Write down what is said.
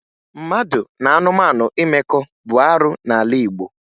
Mmadụ na anụmanụ imekọ bụ arụ n'ala Igbo